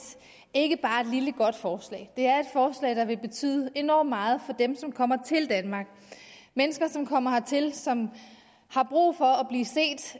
ikke bare et lille godt forslag det er et forslag der vil betyde enormt meget for dem som kommer til danmark mennesker som kommer hertil og som har brug for